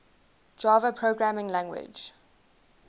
java programming language